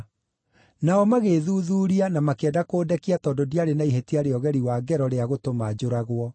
Nao magĩĩthuthuuria na makĩenda kũndekia tondũ ndiarĩ na ihĩtia rĩa ũgeri wa ngero rĩa gũtũma njũragwo.